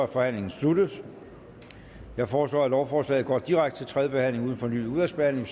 forhandlingen sluttet jeg foreslår at lovforslaget går direkte til tredje behandling uden fornyet udvalgsbehandling